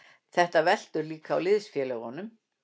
Þetta veltur líka á liðsfélögunum.